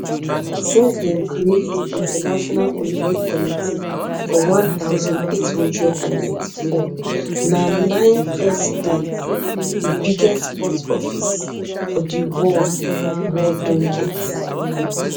since dem create di international olympic committee for one thousand, eight hundred and ninety-four na nine presidents di biggest sports office for di world world don get